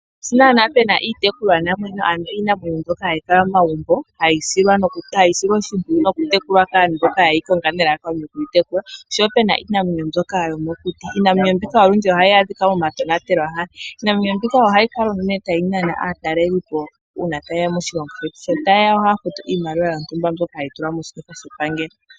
Sho naana puna Iinamwenyo mbyoka hayi kala momagumbo, hayi silwa oshimpwiyu noku tekulwa kaantu mboka ye yi Konga nelalakano lyokuyi tekula, oshowo opuna iinamwenyo mbyoka yomokuti. Iinamwenyo mbika olundji ohayi adhika mo matonatelwahala. Iinamwenyo mbika ohayi kala uunene tayi nana aataleli po taye ya moshilongo shetu, sho taye ya ohaya futu iimaliwa yontumba mbyoka hayi tulwa moshiketha shepangelo.